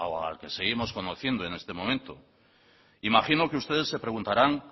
al que seguimos conociendo en este momento imagino que ustedes se preguntarán